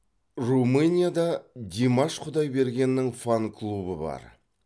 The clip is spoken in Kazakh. румынияда димаш құдайбергеннің фан клубы бар